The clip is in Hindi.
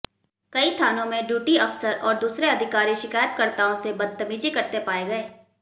कई थानों में ड्यूटी अफसर और दूसरे अधिकारी शिकायतकर्ताओं से बदतमीजी करते पाए गए